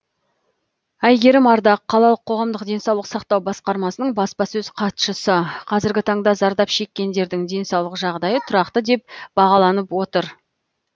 әйгерім ардақ қалалық қоғамдық денсаулық сақтау басқармасының баспасөз хатшысы қазіргі таңда зардап шеккендердің денсаулық жағдайы тұрақты деп бағаланып отыр